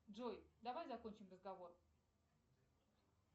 джой давай закончим разговор